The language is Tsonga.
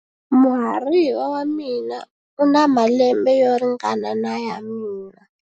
Muhariva wa mina u na malembe yo ringana na ya mina.